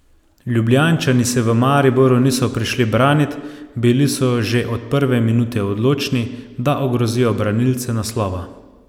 Ljubljančani se v Maribor niso prišli branit, bili so že od prve minute odločni, da ogrozijo branilce naslova.